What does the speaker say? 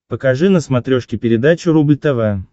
покажи на смотрешке передачу рубль тв